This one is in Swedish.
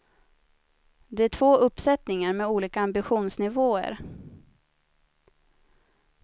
Det är två uppsättningar med olika ambitionsnivåer.